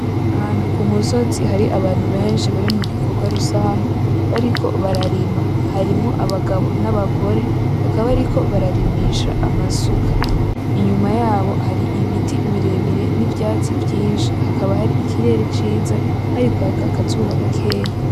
Ahantu kumusozi hari abantu benshi bari mugikorwa rusange. bariko bararima harimo abagabo n'abagore bakaba bariko bararimisha amasuka. inyuma yabo hari ibiti birebire n'ivyatsi vyinshi hakaba hari ikirere kiza hari kwaka akazuba gakeya.